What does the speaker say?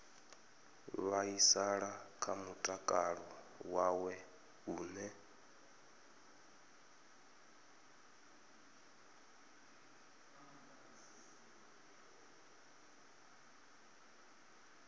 vhaisala kha mutakalo wawe hune